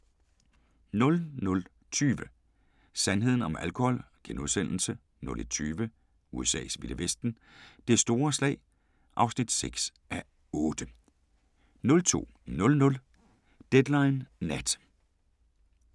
00:20: Sandheden om alkohol * 01:20: USA's vilde vesten: Det store slag (6:8) 02:00: Deadline Nat